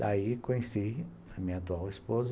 Daí conheci a minha atual esposa,